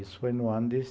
Isso foi no ano de